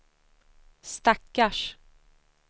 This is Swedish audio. stackars